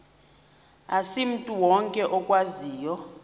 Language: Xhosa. asimntu wonke okwaziyo